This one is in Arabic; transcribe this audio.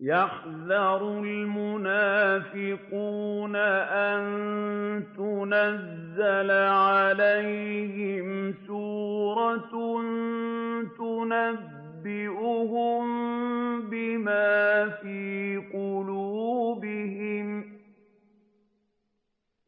يَحْذَرُ الْمُنَافِقُونَ أَن تُنَزَّلَ عَلَيْهِمْ سُورَةٌ تُنَبِّئُهُم بِمَا فِي قُلُوبِهِمْ ۚ